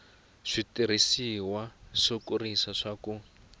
switirhisiwa swo kurisa swa ku